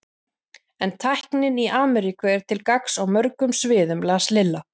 En tæknin í Ameríku er til gagns á mörgum sviðum las Lilla.